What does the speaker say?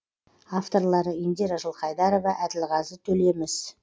авторлары индира жылқайдарова әділғазы төлеміс